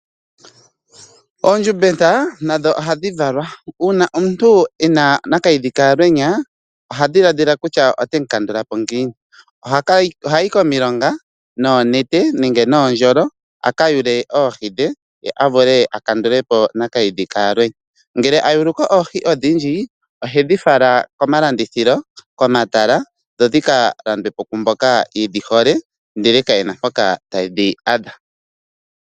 Oondjumbeta nadho ohadhi valwa. Uuna omuntu ena nakayidhi ka alwenya oha dhiladhila kutya ote mu kandulapo ngiini. Ohayi komilonga noonete nenge noondjolo a ka yule oohi dhe ye avule akandulepo nakiidhi ka alwenya, ngele ayuluko oohi odhindji ohe dhifala komalandithilo ,komatala dho dhi ka landwepo kwaamboka yedhi hole ndele kayena mpoka ta yedhi adha.